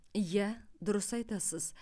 иә дұрыс айтасыз